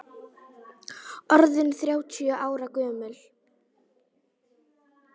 Orðinn þrjátíu ára gömul.